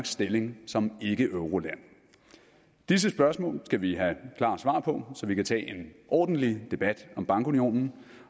stilling som ikkeeuroland disse spørgsmål skal vi have klart svar på så vi kan tage en ordentlig debat om bankunionen